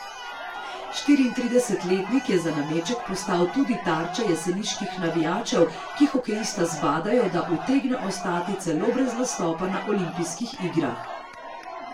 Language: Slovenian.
Štiriintridesetletnik je za nameček postal tudi tarča jeseniških navijačev, ki hokejista zbadajo, da utegne ostati celo brez nastopa na olimpijskih igrah.